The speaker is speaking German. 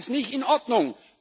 Das ist nicht in Ordnung.